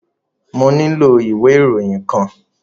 Mo nílò ìwé ìròyìn kan.